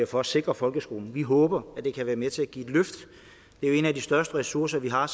for at sikre folkeskolen vi håber at det kan være med til at give et løft det er en af de største ressourcer vi har